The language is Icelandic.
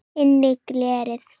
Innri gleði.